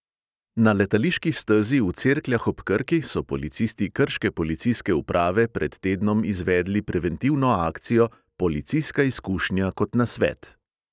Na letališki stezi v cerkljah ob krki so policisti krške policijske uprave pred tednom izvedli preventivno akcijo policijska izkušnja kot nasvet.